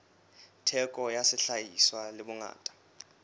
theko ya sehlahiswa le bongata